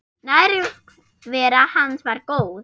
Nærvera hans var góð.